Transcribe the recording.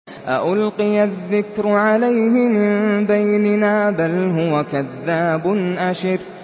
أَأُلْقِيَ الذِّكْرُ عَلَيْهِ مِن بَيْنِنَا بَلْ هُوَ كَذَّابٌ أَشِرٌ